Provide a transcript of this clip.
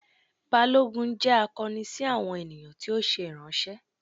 Balogun jẹ akọni si awọn eniyan ti o ṣe iranṣẹ.